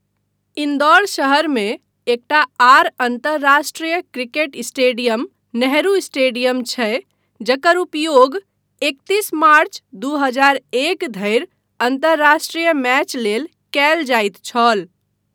इन्दौर शहरमे एकटा आर अन्तर्राष्ट्रीय क्रिकेट स्टेडियम नेहरू स्टेडियम छै, जकर उपयोग एकतीस मार्च दू हजार एक धरि अन्तर्राष्ट्रीय मैच लेल कयल जाइत छल।